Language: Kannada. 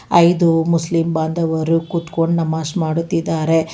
ಐದು ಮುಸ್ಲಿಂ ಬಾಂಧವರು ಕುತ್ಕೊಂಡ್ ನಮಾಜ್ ಮಾಡುತ್ತಿದ್ದಾರೆ.